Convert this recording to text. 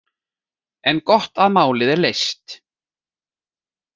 En gott að málið er leyst.